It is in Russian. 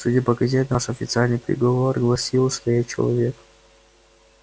судя по газетам ваш официальный приговор гласил что я человек